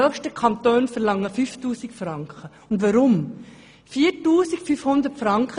Andere Kantone verlangen bis zu 5000 Franken.